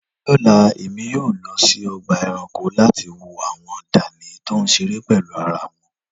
lọla emi o lọ si ọgba ẹranko lati wo awọn dani ti o ṣere pẹlu ara wọn